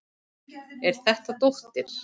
Er þetta dóttir.